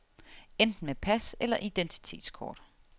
Enten med pas eller identitetskort.